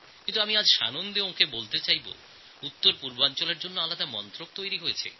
আমি আজ আনন্দের সঙ্গে তাঁদের বলতে চাই যে উত্তরপূর্ব ভারতের জন্য একটি পৃথক মন্ত্রক রয়েছে